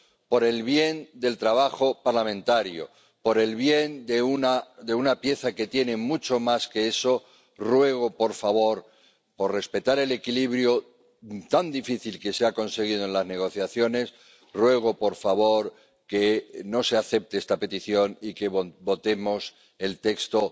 por el bien del trabajo parlamentario, por el bien de una pieza que tiene mucho más que eso, ruego, por favor, por respetar el equilibrio tan difícil que se ha conseguido en las negociaciones, que no se acepte esta petición y que votemos el texto